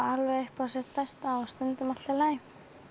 alveg upp á sitt besta og stundum allt í lagi